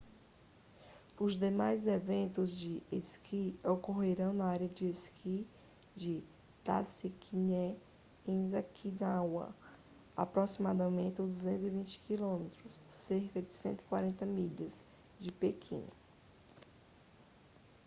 os demais eventos de esqui ocorrerão na região de esqui de taizicheng em zhangjiakou a aproximadamente 220 km cerca de 140 milhas de pequim